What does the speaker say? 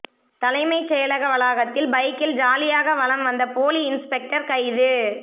தலைமைச் செயலக வளாகத்தில் பைக்கில் ஜாலியாக வலம் வந்த போலி இன்ஸ்பெக்டர் கைது